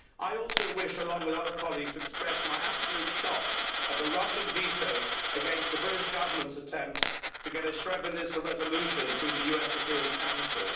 I also wish, along with other colleagues, to express my absolute shock at the Russian veto of the British Government's attempt to get a Srebrenica resolution through the UN Security Council.